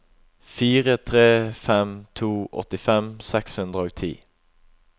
fire tre fem to åttifem seks hundre og ti